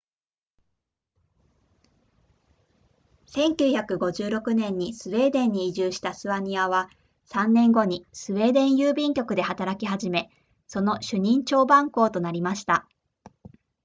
1956年にスウェーデンに移住したスワニアは3年後にスウェーデン郵便局で働き始めその主任彫版工となりました